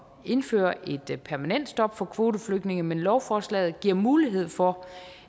indføre et permanent stop for kvoteflygtninge men lovforslaget giver mulighed for